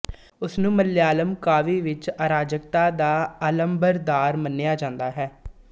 ਉਸਨੂੰ ਮਲਿਆਲਮ ਕਾਵਿ ਵਿੱਚ ਅਰਾਜਕਤਾ ਦਾ ਅਲਮਬਰਦਾਰ ਮੰਨਿਆ ਜਾਂਦਾ ਹੈ